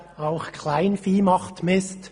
«Auch Kleinvieh macht Mist.